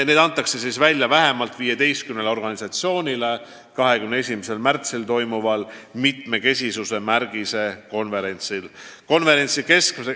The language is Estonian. Need antakse 21. märtsil toimuval mitmekesisuse märgise konverentsil välja vähemalt 15 organisatsioonile.